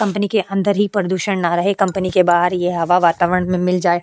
Company के अंदर ही प्रदूषण ना रहे कंपनी कंपनी के बाहर ये हवा वातावरण में मिल जाए।